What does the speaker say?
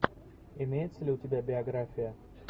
имеется ли у тебя биография